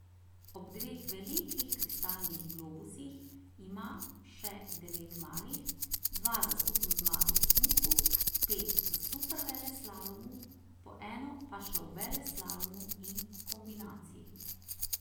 Ob dveh velikih kristalnih globusih ima še devet malih, dva za skupno zmago v smuku, pet v superveleslalomu, po eno pa še v veleslalomu in kombinaciji.